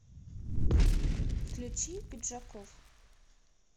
включи пиджаков